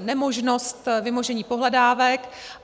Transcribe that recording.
nemožnost vymožení pohledávek.